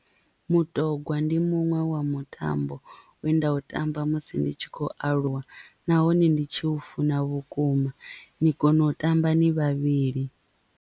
Mutogwa ndi muṅwe wa mutambo we nda u tamba musi ndi tshi khou aluwa nahone ndi tshi u funa vhukuma ni kona u tamba ni vhavhili.